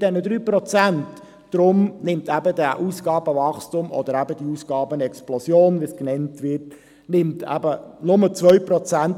Deswegen nimmt das Ausgabenwachstum, oder eben diese Ausgabenexplosion, wie sie genannt wird, in den nächsten vier Jahren nur um 2 Prozent